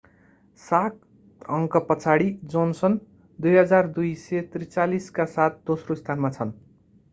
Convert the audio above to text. सात अङ्कपछाडि जोनसन 2,243 का साथ दोस्रो स्थानमा छन्